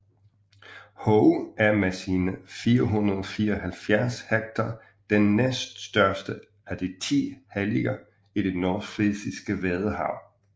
Hoge er med sine 574 hektar den næststørste af de ti halliger i det nordfrisiske vadehav